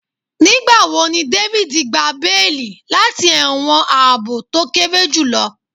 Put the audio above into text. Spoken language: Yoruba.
Nigbawo ni David gba beeli lati ẹwọn aabo to kere julọ